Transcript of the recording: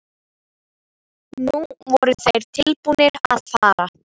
Nú voru þeir tilbúnir að fara.